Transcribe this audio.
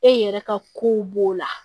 E yɛrɛ ka kow b'o la